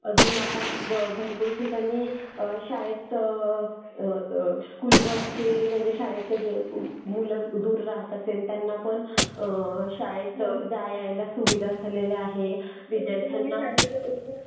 अजून आता भरपूर ठिकाणी शाळेत स्कुलबस चे म्हणजे शाळेच्या जे मुलं जे दूर राहतात त्यांना पण शाळेत जायला यायला सुविधा झालेली आहे. विद्यार्थ्यांना